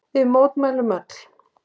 Við mótmælum öll.